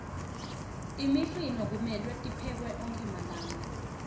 imifino kumelwe tiphekwe onkhe malanga